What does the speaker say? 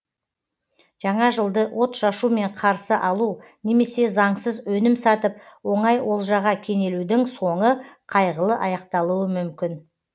жаңа жылды отшашумен қарсы алу немесе заңсыз өнім сатып оңай олжаға кенелудің соңы қайғылы аяқталуы мүмкін